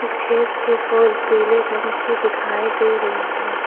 खेत के फूल पीले रंग की दिखाई दे रही हैं।